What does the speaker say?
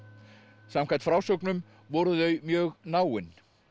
samkvæmt frásögnum voru þau mjög náin